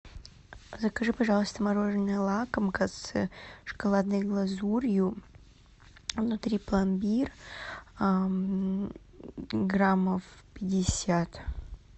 закажи пожалуйста мороженое лакомка с шоколадной глазурью внутри пломбир граммов пятьдесят